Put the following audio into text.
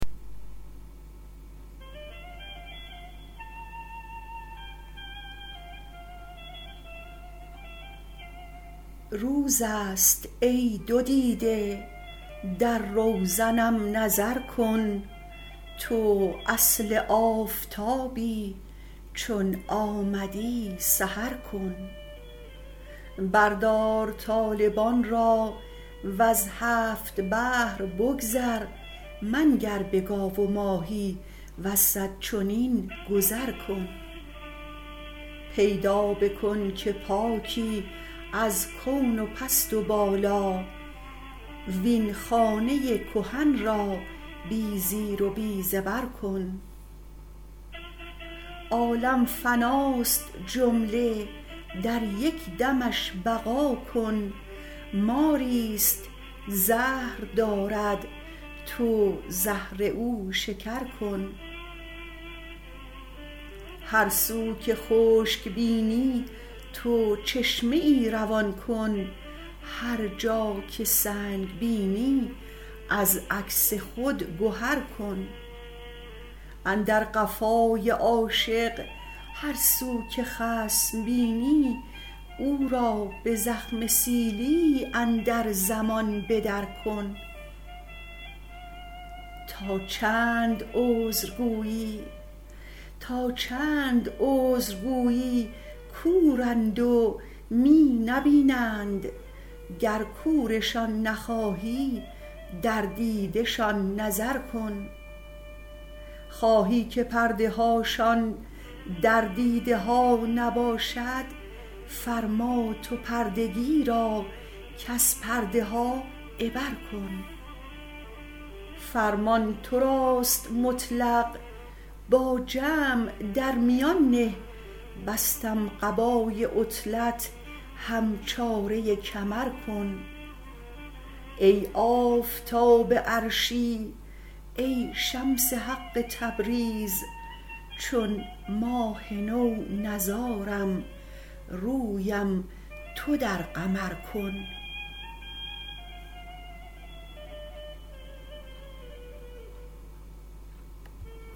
روز است ای دو دیده در روزنم نظر کن تو اصل آفتابی چون آمدی سحر کن بردار طالبان را وز هفت بحر بگذر منگر به گاو و ماهی وز صد چنین گذر کن پیدا بکن که پاکی از کون و پست و بالا وین خانه کهن را بی زیر و بی زبر کن عالم فناست جمله در یک دمش بقا کن ماری است زهر دارد تو زهر او شکر کن هر سو که خشک بینی تو چشمه ای روان کن هر جا که سنگ بینی از عکس خود گهر کن اندر قفای عاشق هر سو که خصم بینی او را به زخم سیلی اندر زمان به درکن تا چند عذر گویی کورند و می نبینند گر کورشان نخواهی در دیده شان نظر کن خواهی که پرده هاشان در دیده ها نباشد فرما تو پردگی را کز پرده ها عبر کن فرمان تو راست مطلق با جمع در میان نه بستم قبای عطلت هم چاره کمر کن ای آفتاب عرشی ای شمس حق تبریز چون ماه نو نزارم رویم تو در قمر کن